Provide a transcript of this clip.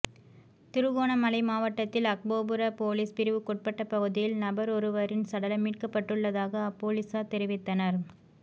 திருகோணமலை மாவட்டத்தில் அக்போபுர பொலிஸ் பிரிவுக்குட்பட்ட பகுதியில் நபரொருவரின் சடலம் மீட்கப்பட்டுள்ளதாக அப் பொலிசார் தெரிவித்தனர்